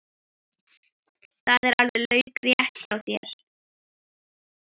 Það er alveg laukrétt hjá þér.